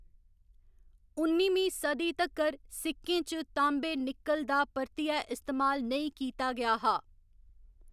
उन्निमीं सदी तक्कर सिक्कें च तांबे निक्कल दा परतियै इस्तेमाल नेईं कीता गेआ हा।